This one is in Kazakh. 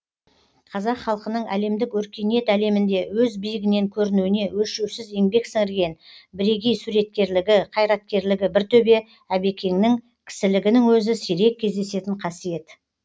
қазақ халқының әлемдік өркениет әлемінде өз биігінен көрінуіне өлшеусіз еңбек сіңірген бірегей суреткерлігі қайраткерлігі бір төбе әбекеңнің кісілігінің өзі сирек кездесетін қасиет